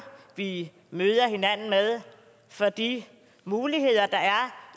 vi møder hinanden med for de muligheder der er